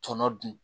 Tɔnɔ dun